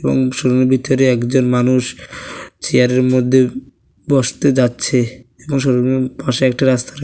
এবং শোরুমের ভিতরে একজন মানুষ চেয়ারের মধ্যে বসতে যাচ্ছে এবং শোরুমের পাশে একটা রাস্তাটা--